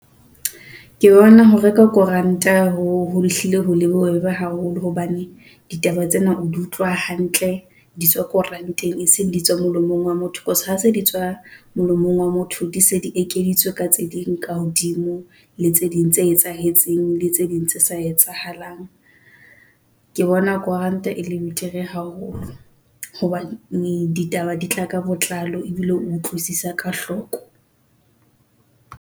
Ke bona ho reka koranta ho hlile ho le bobebe haholo hobane ditaba tsena o di utlwa hantle. Di tswa koranteng e seng di tswa molomong wa motho. Cause ha se di tswa molomong wa motho, di se di ekeditswe ka tse ding ka hodimo le tse ding tse etsahetseng le tse ding tse sa etsahalang. Ke bona koranta e le betere. Haholo hobane ditaba di tla ka botlalo ebile utlwisisa ka hloko.